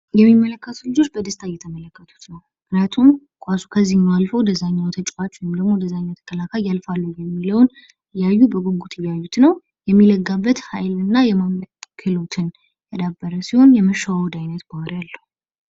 የሚመለከቱ ልጆች በደስታ እየተመለከቱት ነው። ምክንያቱም ኳሱ ከዚህም አልፎ ወደዛኛው ተጫዋቾችም ወደ እኛ ተከላካይ ያልፋሉ የሚለውን እያዩ በጉጉት እያዩት ነው የሚለጋበት ኃይል እና የማምለጥ ክህሎትን ያዳበረ ሲሆን ፤የመሸዋወድ አይነት ባህሪ አለው።